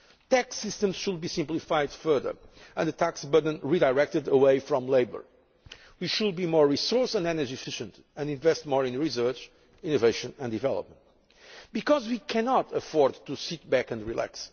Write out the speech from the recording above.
SMEs. Tax systems should be simplified further and the tax burden redirected away from labour. We should be more resource and energy efficient and invest more in research, innovation and development. Because we cannot afford to sit back and